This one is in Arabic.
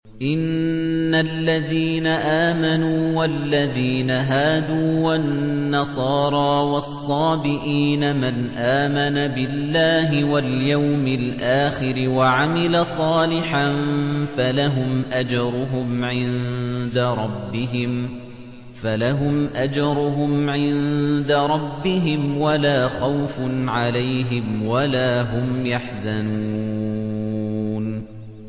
إِنَّ الَّذِينَ آمَنُوا وَالَّذِينَ هَادُوا وَالنَّصَارَىٰ وَالصَّابِئِينَ مَنْ آمَنَ بِاللَّهِ وَالْيَوْمِ الْآخِرِ وَعَمِلَ صَالِحًا فَلَهُمْ أَجْرُهُمْ عِندَ رَبِّهِمْ وَلَا خَوْفٌ عَلَيْهِمْ وَلَا هُمْ يَحْزَنُونَ